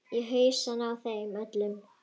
Í hausana á þeim öllum.